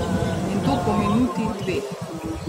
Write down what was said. In to po minuti, dveh.